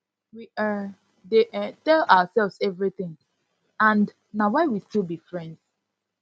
we um dey um tell ourselves everything and na why we still be friends